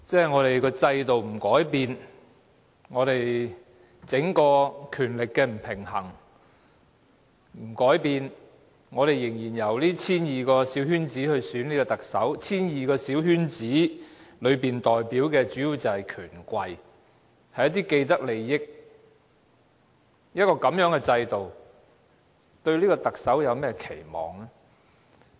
我們的制度不改變，整個權力的不平衡不改變，仍然由 1,200 個小圈子成員選特首 ——1,200 個小圈子成員當中代表的主要是權貴，一些既得利益者，在這樣的制度下，我們對特首有何期望呢？